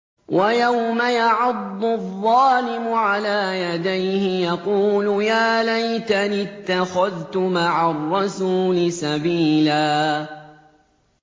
وَيَوْمَ يَعَضُّ الظَّالِمُ عَلَىٰ يَدَيْهِ يَقُولُ يَا لَيْتَنِي اتَّخَذْتُ مَعَ الرَّسُولِ سَبِيلًا